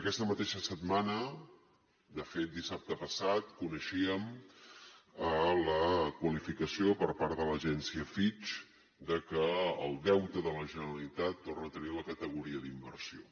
aquesta mateixa setmana de fet dissabte passat coneixíem la qualificació per part de l’agència fitch de que el deute de la generalitat torna a tenir la categoria d’inversió